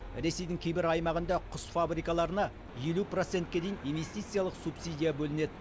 ресейдің кейбір аймағында құс фабрикаларына елу процентке дейін инвестициялық субсидия бөлінеді